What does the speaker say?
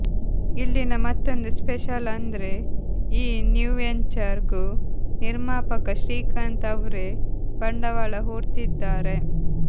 ಇಲ್ಲಿನ ಮತ್ತೊಂದು ಸ್ಪೆಷಲ್ ಅಂದ್ರೆ ಈ ನ್ಯೂ ವೆಂಚರ್ ಗೂ ನಿರ್ಮಾಪಕ ಶ್ರೀಕಾಂತ್ ಅವ್ರೇ ಬಂಡವಾಳ ಹೂಡ್ತಿದ್ದಾರೆ